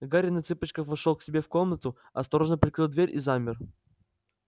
гарри на цыпочках вошёл к себе в комнату осторожно прикрыл дверь и замер